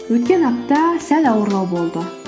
өткен апта сәл ауырлау болды